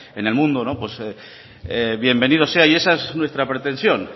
en el mundo bienvenido sea y esa es nuestra pretensión